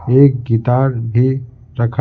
एक गितार भी रख--